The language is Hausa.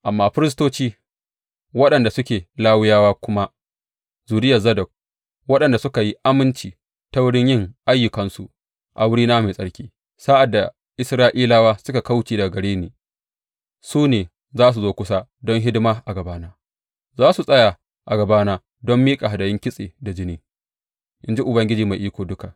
Amma firistoci, waɗanda suke Lawiyawa kuma zuriyar Zadok waɗanda suka yi aminci ta wurin yin ayyukansu a wurina mai tsarki sa’ad da Isra’ilawa suka kauce daga gare ni, su ne za su zo kusa don hidima a gabana; za su tsaya a gabana don miƙa hadayun kitse da jini, in ji Ubangiji Mai Iko Duka.